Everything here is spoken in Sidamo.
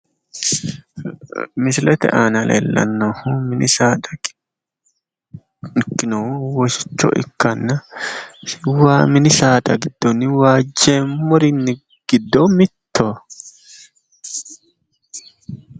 Misilete aana leellannohu mini saada ikkinohu woshichoho ikkanna, mini saada giddo waajjeemmori giddo mittoho.